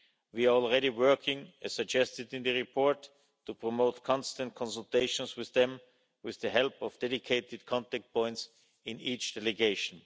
We are already working, as suggested in the report, to promote constant consultations with them, with the help of dedicated contact points in each delegation.